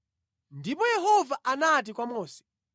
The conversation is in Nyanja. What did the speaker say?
Ndipo Yehova anati kwa Mose,